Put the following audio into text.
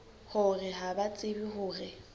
hore ha ba tsebe hore